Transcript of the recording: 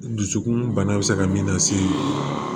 Dusukun bana bɛ se ka min lase